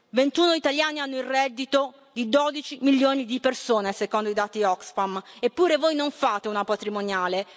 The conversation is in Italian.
Ventuno italiani hanno il reddito di 12 milioni di persone, secondo i dati Oxfam, eppure voi non fate una patrimoniale.